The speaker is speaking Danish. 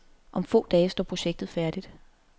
Om få dage står projektet færdigt.